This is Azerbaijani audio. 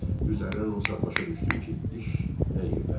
Üzərindən o saat başa düşdüm ki, iş nə yerdədir.